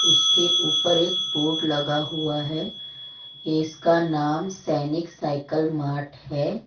उसके ऊपर एक बोर्ड लगा हुआ है इसका नाम सैनिक साइकल मार्ट है।